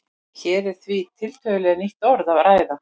Hér er því um tiltölulega nýtt orð að ræða.